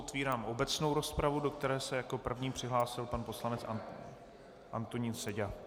Otevírám obecnou rozpravu, do které se jako první přihlásil pan poslanec Antonín Seďa.